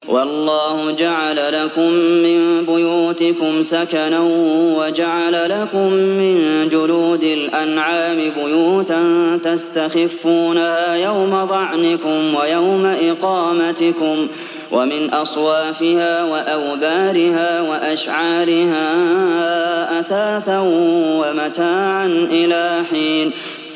وَاللَّهُ جَعَلَ لَكُم مِّن بُيُوتِكُمْ سَكَنًا وَجَعَلَ لَكُم مِّن جُلُودِ الْأَنْعَامِ بُيُوتًا تَسْتَخِفُّونَهَا يَوْمَ ظَعْنِكُمْ وَيَوْمَ إِقَامَتِكُمْ ۙ وَمِنْ أَصْوَافِهَا وَأَوْبَارِهَا وَأَشْعَارِهَا أَثَاثًا وَمَتَاعًا إِلَىٰ حِينٍ